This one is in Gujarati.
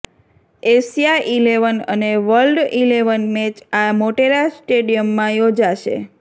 એશિયા ઈલેવન અને વર્લ્ડ ઈલેવન મેચ આ મોટેરા સ્ટેડિયમમાં યોજાશે